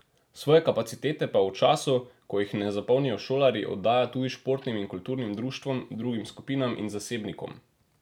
Svoje kapacitete pa v času, ko jih ne zapolnijo šolarji, oddaja tudi športnim in kulturnim društvom, drugim skupinam in zasebnikom.